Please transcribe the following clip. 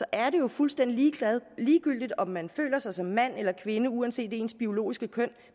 er det jo fuldstændig ligegyldigt om man føler sig som mand eller kvinde uanset ens biologiske køn